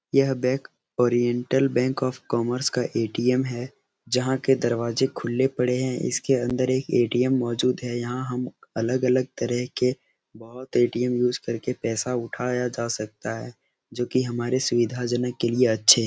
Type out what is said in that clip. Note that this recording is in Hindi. यह bank Oriental bank of Commerce का ए.टी.एम. है जहाँ के दरवाजे खुले पड़े हैं। इसके अंदर एक ए.टी.एम. मौजूद है। यहाँ हम अलग-अलग तरह के बहुत ए.टी.एम. यूज़ करके पैसा उठाया जा सकता है जो कि हमारे सुविधाजनक के लिए अच्छे हैं।